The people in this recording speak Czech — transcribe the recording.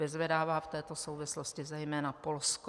Vyzvedává v této souvislosti zejména Polsko.